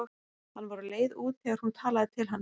Hann var á leið út þegar hún talaði til hans.